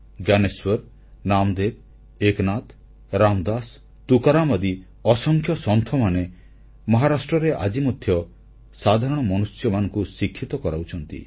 ଜ୍ଞାନେଶ୍ୱର ନାମଦେବ ଏକନାଥ ରାମଦାସ ତୁକାରାମ ଆଦି ଅସଂଖ୍ୟ ସନ୍ଥମାନେ ମହାରାଷ୍ଟ୍ରରେ ଆଜି ମଧ୍ୟ ସାଧାରଣ ମନୁଷ୍ୟମାନଙ୍କୁ ଶିକ୍ଷିତ କରାଉଛନ୍ତି